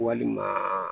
Walima